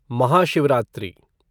Mahashivratri